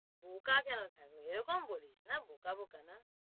বোকা কেন থাকবে, এরকম বলিস না বোকা-বোকা না,